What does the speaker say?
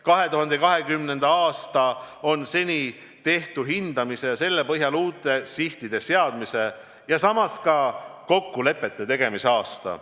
2020. aasta on senitehtu hindamise ja selle põhjal uute sihtide seadmise ja samas ka kokkulepete tegemise aasta.